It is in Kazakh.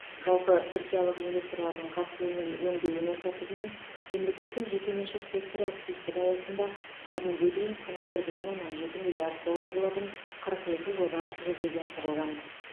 жалпы түркиялық инвесторлардың қатысуымен өңдеу өнеркәсібі мен мемлекет пен жекеменшік сектор әріптестігі аясында бүгінге дейін құны бір бүтін оннан жеті миллиард доллар болатын қырық екі жоба жүзеге асырылған